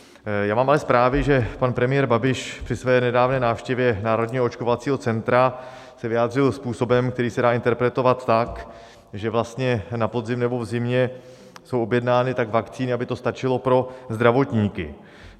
Já mám ale zprávy, že pan premiér Babiš při své nedávné návštěvě Národního očkovacího centra se vyjádřil způsobem, který se dá interpretovat tak, že vlastně na podzim nebo v zimě jsou objednány vakcíny tak, aby to stačilo pro zdravotníky.